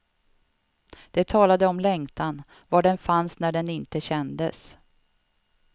De talade om längtan, var den fanns när den inte kändes.